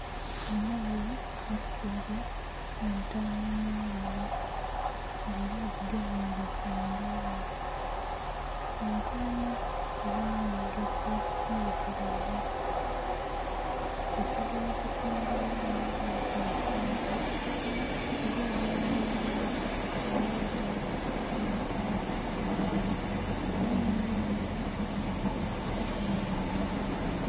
Omughala asitwile entaama mu ngalo nga ela agigemeile ku ndha ye. Entaama elina emigaso mibitilivu. Esobola okutundibwa omuntu yafunha sente, oba ebyoya byayo bisobola osalibwaku byatundibwa. Ela nhi yenhe esalibwa okufunhamu enyama.